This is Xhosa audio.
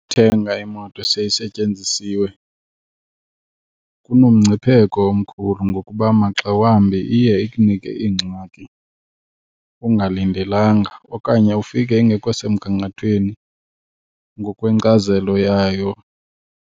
Ukuthenga imoto eseyisetyenzisiwe kunomngcipheko omkhulu ngokuba maxa wambi iye ikunike iingxaki ungalindelanga okanye ufike ingekho semgangathweni ngokwenkcazelo yayo.